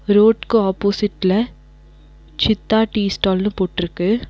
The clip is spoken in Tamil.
ரோட்க்கு ஆப்போசிட்ல சித்தா டீ ஸ்டால்னு போட்ருக்கு.